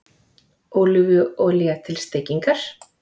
Ólífuolía til steikingar